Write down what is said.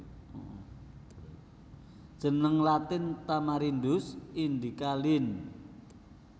Jeneng Latin Tamarindus indica Linn